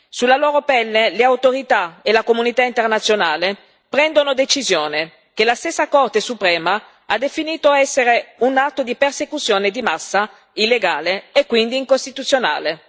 Sulla loro pelle le autorità e la comunità internazionale prendono decisioni che la stessa Corte Suprema ha definito essere un atto di persecuzione di massa, illegale e quindi incostituzionale.